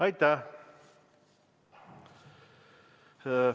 Aitäh!